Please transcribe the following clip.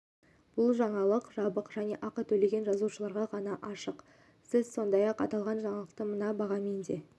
бұл жаңалық жабық және ақы төлеген жазылушыларға ғана ашық сіз сондай-ақ аталған жаңалықты мына бағамен де